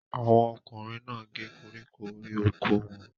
Àwọn ọkùnrin náà gé koríko orí oko wọn.